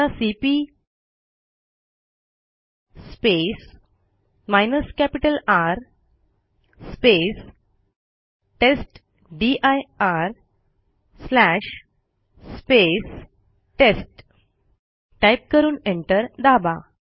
आता C R test dir test type करून enter दाबा